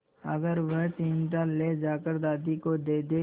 अगर वह चिमटा ले जाकर दादी को दे दे